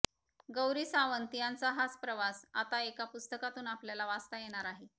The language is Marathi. गौरी सावंत यांचा हाच प्रवास आता एका पुस्तकातून आपल्याला वाचता येणार आहे